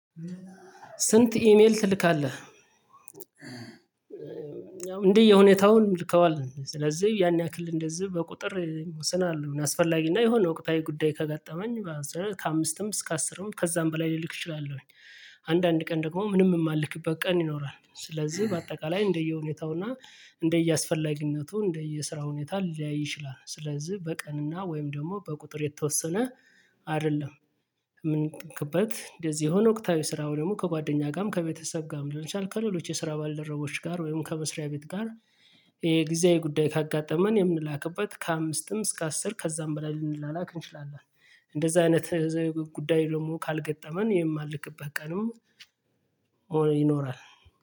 ስንት ኢሜል ትልካለህ እንደየሁኔታው ልከዋል ስለዚህ ያን ያክል እንደዚህ በቁጥር ይወስናል አስፈላጊ እና የሆነ ወቅታዊ ጉዳይ ከገጠመኝ ከአምስትም እስከ አስርም ከዛም በላይ ልልክ እችላለሁኝ። አንዳንድ ቀን ደግሞ ምንም የማልክበት ቀን ይኖራል ስለዚህ በአጠቃላይ እንደየሁኔታውና እንደየአስፈላጊነቱ እንደየስራ ሁኔታ ሊያይ ይችላል። ስለዚህ በቀንና ወይም ደግሞ በቁጥር የተወሰነ አይደለም። ምን ይጠቅበት? እንደዚህ የሆነ ወቅታዊ ስራው ደግሞ ከጓደኛ ጋርም ከቤተሰብ ጋርም ደርሻል ከሌሎች የስራ ባልደረቦች ጋር ወይም ከመስሪያ ቤት ጋር። የጊዜያዊ ጉዳይ ካጋጠመን የምንላክበት ከአምስትም እስከ አስር ከዛም በላይ ልንላላክ እንችላለን። እንደዛ አይነት የጉዳይ ደግሞ ካልገጠመን የማልክበት ቀንም ይኖራል።